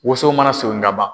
Woson mana son kaban